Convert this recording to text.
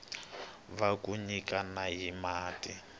wa ku nyikana hi mati